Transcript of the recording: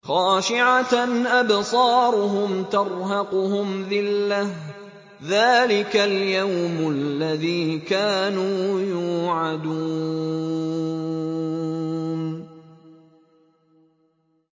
خَاشِعَةً أَبْصَارُهُمْ تَرْهَقُهُمْ ذِلَّةٌ ۚ ذَٰلِكَ الْيَوْمُ الَّذِي كَانُوا يُوعَدُونَ